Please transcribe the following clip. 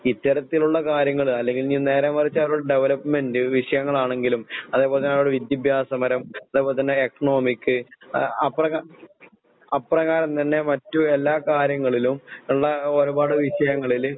ഇത്തരത്തിലൊള്ള കാര്യങ്ങള്, അല്ലെങ്കിൽ ഇഞ്ഞി നേരെ മറിച്ച് അവരുടെ ഡെവലൊപ്മെന്റ് വിഷയങ്ങളാണെങ്കിലും, അതേപോലെ തന്നെ അവരുടെ വിദ്യാഭ്യാസപരം, അതേപോലെ തന്നെ എക്കണോമിക് അഹ് അപ്രക അപ്രകാരം തന്നെ മറ്റ് എല്ലാ കാര്യങ്ങളിലും ഇള്ള ഒരുപാട് വിഷയങ്ങളില്